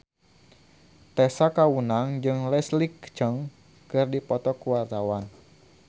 Tessa Kaunang jeung Leslie Cheung keur dipoto ku wartawan